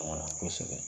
Kosɛbɛ